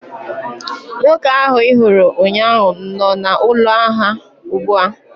Nwoke ahụ ị hụrụ ụnyaahụ nọ n'ụlọ ahịa ugbu a